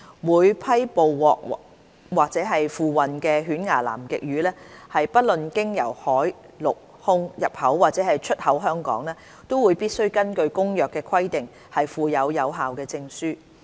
每批捕獲或付運的犬牙南極魚，不論經由海、陸、空入口或出口香港，都必須根據《公約》規定附有有效證書。